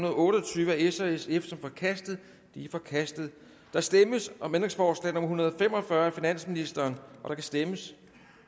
og otte og tyve af s og sf som forkastet det er forkastet der stemmes om ændringsforslag nummer en hundrede og fem og fyrre af finansministeren der kan stemmes